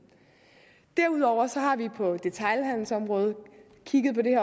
derudover har vi på detailhandelsområdet kigget på det